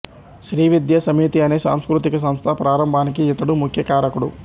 శ్రీ విద్యా సమితి అనే సాంస్కృతిక సంస్థ ప్రారంభానికి ఇతడు ముఖ్యకారకుడు